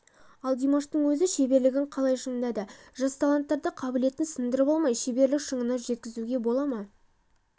ал димаштың өзі шеберлігін қалай шыңдады жас таланттарды қабілетін сындырып алмай шеберлік шыңына жеткізуге бола ма